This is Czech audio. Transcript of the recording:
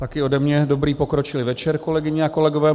Taky ode mě dobrý pokročilý večer, kolegyně a kolegové.